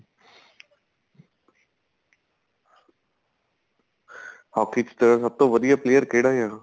hockey ਚ ਸਭ ਤੋਂ ਵਧੀਆ player ਕਿਹੜਾ ਆ